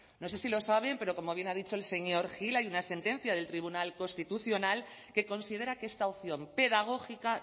no sé si lo saben pero como bien ha dicho el señor gil hay una sentencia del tribunal constitucional que considera que esta opción pedagógica